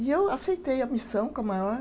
E eu aceitei a missão com a maior.